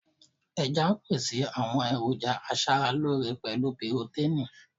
Ẹja ń pèsè àwọn èròjà aṣaralóore pẹ̀lú pirotéìnì.